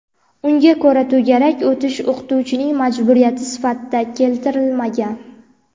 unga ko‘ra to‘garak o‘tish o‘qituvchining majburiyati sifatida keltirilmagan.